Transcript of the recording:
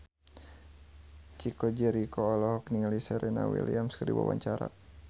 Chico Jericho olohok ningali Serena Williams keur diwawancara